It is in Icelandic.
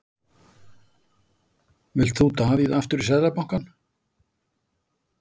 Vilt þú Davíð aftur í Seðlabankann?